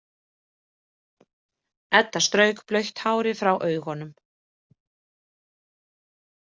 Edda strauk blautt hárið frá augunum.